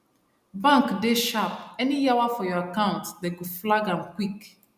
bank dey sharp any yawa for your account dem go flag am quick